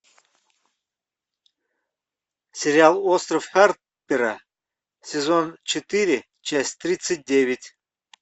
сериал остров харпера сезон четыре часть тридцать девять